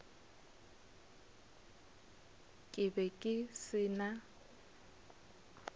ke be ke se na